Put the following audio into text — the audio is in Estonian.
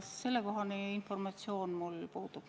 Sellekohane informatsioon mul puudub.